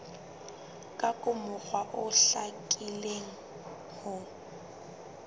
ka mokgwa o hlakileng ho